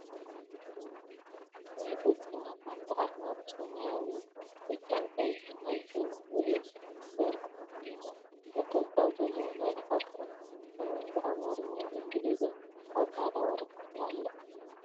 ናይ ብልፅግና ፓርቲ ኣርማ ብሰማያዊ፣ ብጫንቀይሕን ናይ ሰብ ምስሊ ኢድ ዘርጉሑ ኮይኑ ነጠብጣብ ዘለዎ ናይ ፓርቶም ስምን ብኣማርኛን ኢንግሊዝን ኣብ ፃዕዳ ወረቀት ኣሎ።